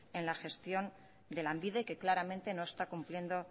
en la gestión de lanbide que claramente no está cumpliendo